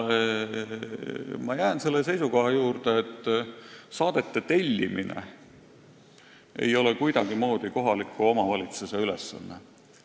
Ma jään selle seisukoha juurde, et saadete tellimine ei ole kuidagimoodi kohaliku omavalitsuse ülesanne.